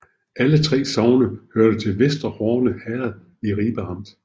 Alle 3 sogne hørte til Vester Horne Herred i Ribe Amt